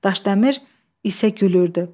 Daşdəmir isə gülürdü.